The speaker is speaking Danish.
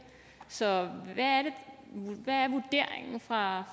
så hvad er vurderingen fra